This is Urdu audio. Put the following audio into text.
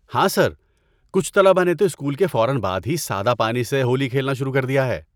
ہاں سر، کچھ طلبہ نے تو اسکول کے بعد فوراً ہی سادہ پانی سے ہولی کھیلنا شروع کر دیا ہے!